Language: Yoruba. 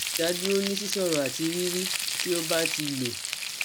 idaduro ni sisoro ati riri ti o ba ti lo